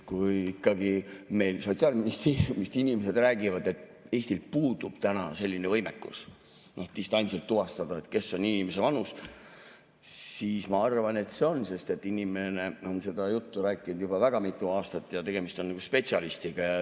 Kui meil ikkagi Sotsiaalministeeriumis inimesed räägivad, et Eestil puudub selline võimekus, et distantsilt tuvastada, mis on inimese vanus, siis ma arvan, et see nii on, sest inimene on seda juttu rääkinud juba väga mitu aastat ja tegemist on spetsialistiga.